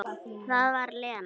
Það var Lena.